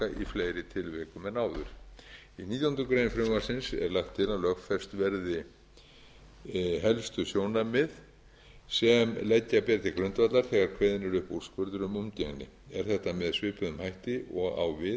fleiri tilvikum en áður í nítjánda grein frumvarpsins er lagt til að lögfest verði helstu sjónarmið sem leggja beri til grundvallar þegar kveðinn er upp úrskurður um umgengni er þetta með svipuðum hætti og á við um forsjá þar